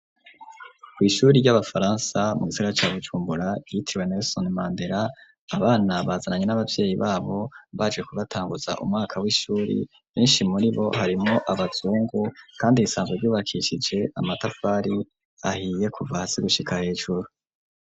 Kw'ishure ry'abafaransa mu gisigara ca Bujumbura yitiriwe nelson mandela abana bazananye n'abavyeyi babo baje kubatanguza umwaka w'ishure, benshi muri bo harimwo abazungu kandi risanzwe ryubakishije amatafari ahiye kuva hasi gushika hejuru.